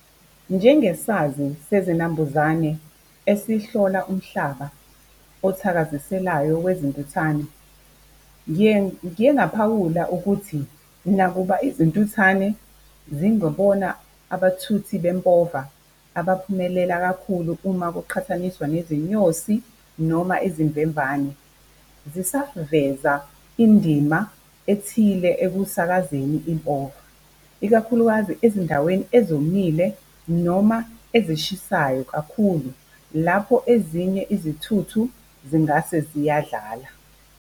Njengesazi sezinambuzane esihlola umhlaba othakaziselayo wezintuthwane, ngiye ngiye ngaphawula ukuthi nakuba izintuthwane zingebona abathuthi bempova abaphumelele kakhulu uma kuqhathaniswa nezinyosi noma izimvemvane. Zisaveza indima ethile ekusakazeni impova ikakhulukazi ezindaweni ezomile noma ezishisayo kakhulu lapho ezinye izithuthu singase ziyadlala.